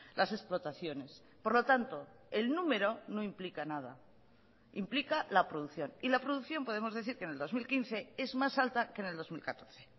las explotaciones por lo tanto el número no implica nada implica la producción y la producción podemos decir que en el dos mil quince es más alta que en el dos mil catorce